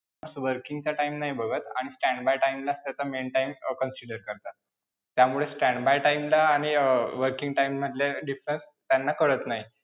Working चा time नाही बघत आणि stand by time ला त्याचा main time consider करतात, त्यामुळे stand by time ला आणि अं working time मधल्या difference त्यांना कळत नाही.